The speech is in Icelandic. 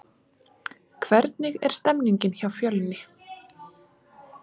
Hvernig er stemningin hjá Fjölni?